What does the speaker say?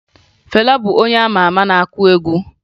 Fela bụ onye a ma ama na-akụ egwu